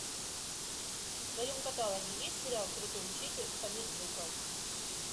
в твоем каталоге есть сериал крутой учитель онидзука